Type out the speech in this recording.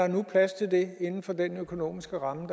nu er plads til det inden for den økonomiske ramme